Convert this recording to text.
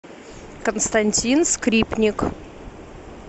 константин скрипник